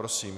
Prosím.